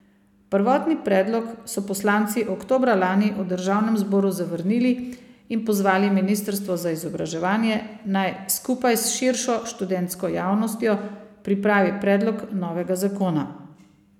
Prvotni predlog so poslanci oktobra lani v državnem zboru zavrnili in pozvali ministrstvo za izobraževanje, naj skupaj s širšo študentsko javnostjo pripravi predlog novega zakona.